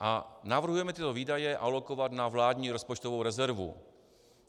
A navrhujeme tyto výdaje alokovat na vládní rozpočtovou rezervu.